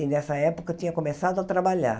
E, nessa época, tinha começado a trabalhar.